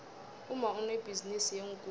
umma unebhizinisi yeenkukhu